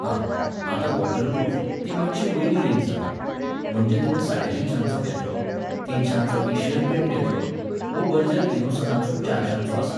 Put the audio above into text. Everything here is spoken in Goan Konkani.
हां, आतां वॉटर प्रूफ, ती मातशी वयली रेंज जाता, म्हणजे तुवें साडेतिनशांचो घेतलो, तिनशांचो ऐशियन पेंट घेतलो, वो बर्जर इनोसनाचो चारशांचो आसा